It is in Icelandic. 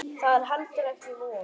Það er heldur ekki von.